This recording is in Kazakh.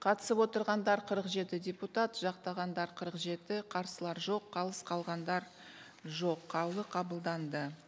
қатысып отырғандар қырық жеті депутат жақтағандар қырық жеті қарсылар жоқ қалыс қалғандар жоқ қаулы қабылданды